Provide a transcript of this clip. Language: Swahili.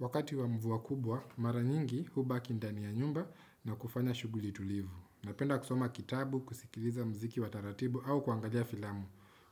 Wakati wa mvua kubwa, mara nyingi hubaki ndani ya nyumba na kufanya shughuli tulivu. Napenda kusoma kitabu, kusikiliza mziki wa taratibu au kuangalia filamu.